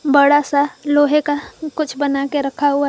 बड़ा सा लोहे का कुछ बनाके रखा हुआ है।